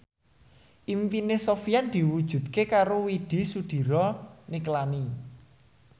impine Sofyan diwujudke karo Widy Soediro Nichlany